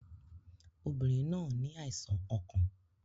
Obìnrin náà ní àìsàn ọkàn